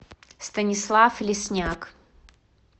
станислав лесняк